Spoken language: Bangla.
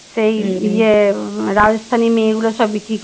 সেই ইয়ে রাজস্থানী মেয়েগুলো সব বিক্রি